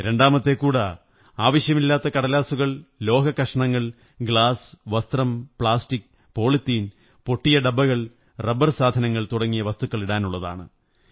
രണ്ടാമത്തെ കൂട ആവശ്യമില്ലാത്ത കടലാസുകൾ ലോഹക്കഷണങ്ങൾ ഗ്ലാസ് വസ്ത്രം പ്ലാസ്റ്റിക് പോളിത്തീൻ പൊട്ടിയ ഡബ്ബകൾ റബർ സാധനങ്ങൾ തുടങ്ങിയ വസ്തുക്കളിടാനുള്ളതാണ്